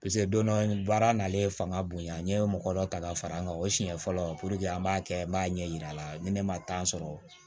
don dɔ baara n'ale fanga bonya n ye mɔgɔ dɔ ta ka far'an kan o siɲɛ fɔlɔ an b'a kɛ n b'a ɲɛ yira a la ni ne ma sɔrɔ